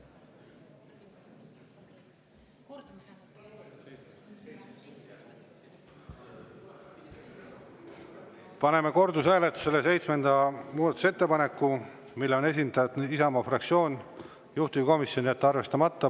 Paneme kordushääletusele seitsmenda muudatusettepaneku, mille on esitanud Isamaa fraktsioon, juhtivkomisjon: jätta arvestamata.